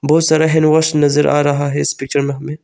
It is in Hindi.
उस तरह हैंड वॉश नजर आ रहा है इस पिक्चर में हमें।